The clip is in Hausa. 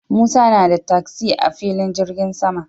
Musa na da tasi a filin jirgin sama